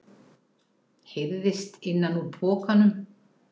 heyrðist innan úr pokanum.